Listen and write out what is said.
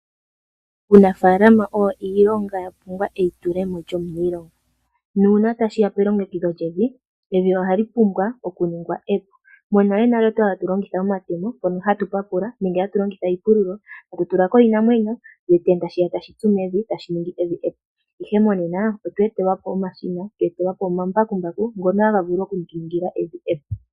Uunafaalama owo iilonga ya pumbwa eitulemo lyomiilonga nuuna tashiya pelongekidho lyevi, evi ohali pumbwa okuningwa epu. Monalenale okwali hatu longitha omatemo ngono hatu papula nenge hatu longitha iipululo, hatu tula ko iinamwenyo koshitenda shiya tashi tsu mevi , tashi ningi evi epu, ihe monena otwe etelwa po omashina, twe etelwa po omambakumbaku ngono haga vulu oku tu ningila evi epu.